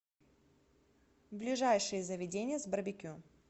ближайшие заведения с барбекю